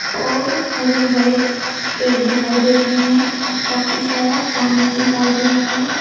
और हरे भरे पेड़ दिखाई दे रहे हैं और काफी सारा पानी दिखाई दे रहा है।